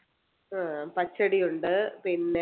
അഹ് പച്ചടിയുണ്ട് പിന്നെ